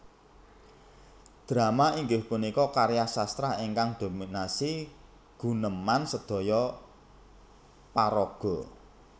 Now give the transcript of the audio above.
Drama inggih punika karya sastra ingkang dominasi guneman sedhoyo paraga